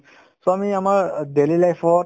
so, আমি আমাৰ অ daily life ত